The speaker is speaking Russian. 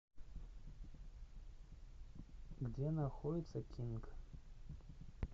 где находится кинг